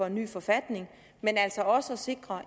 en ny forfatning men altså også sikre